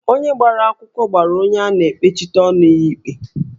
Onye gbara akwụkwọ gbara onye a na-ekpechite ọnụ n'ụlọ ikpe